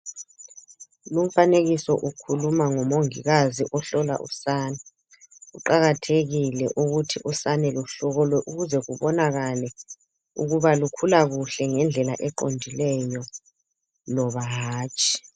Lumfanekiso ukhuluma ngomongikazi ohlola usane. Kuqakathekile ukuthi usane luhlolwe ukuze kubonakale ukuba lukhula kuhle ngendlela eqondileyo loba hatshi.